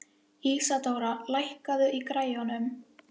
Ísadóra, lækkaðu í græjunum.